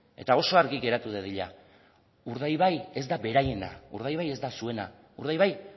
eta oso argi geratu dadila urdaibai ez da beraiena urdaibai ez da zuena urdaibai